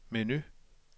menu